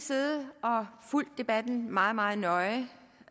fulgt debatten meget meget nøje